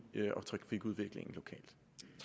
og trafikudviklingen lokalt